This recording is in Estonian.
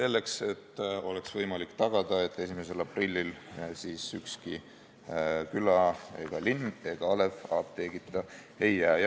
Nii oleks võimalik tagada, et 1. aprillil ei jääks ükski küla ega linn ega alev apteegita.